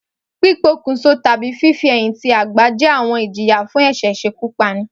Pípokùnso tàbí fífi-ẹ̀yìn-ti-àgbá jẹ́ àwọn ìjìyà fún ẹ̀ṣẹ̀ ìṣekúpani